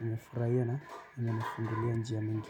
nafuraia na inanifungulia njia mingi.